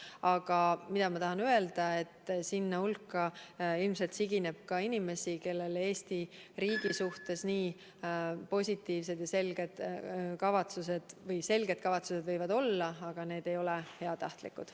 Aga ilmselt sigineb sinna meeleavaldajate hulka ka inimesi, kellel Eesti riigi suhtes nii positiivsed ja selged kavatsused ei ole, õigemini, kavatsused võivad isegi selged olla, aga need ei ole heatahtlikud.